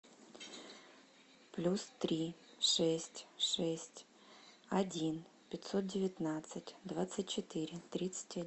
плюс три шесть шесть один пятьсот девятнадцать двадцать четыре тридцать